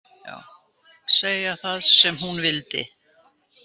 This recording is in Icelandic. Segja það sem hún vildi.